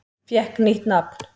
Fékk nýtt nafn